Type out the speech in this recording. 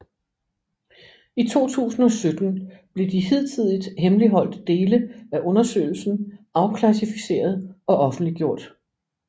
I 2017 blev de hidtidigt hemmeligholdte dele af undersøgelsen afklassificeret og offentliggjort